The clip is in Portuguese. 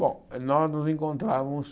Bom, nós nos encontrávamos...